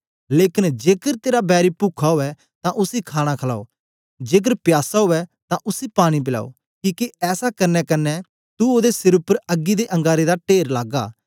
लेकन जेकर तेरा बैरी पुखा उवै तां उसी खाणा खलाओ जेकर प्यासा उवै तां उसी पानी पलाओ किके ऐसा करने कन्ने तू ओदे सिर उपर अग्गी दे अंगारें दा टेर लागा